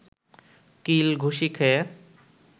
কিল ঘুসি খেয়ে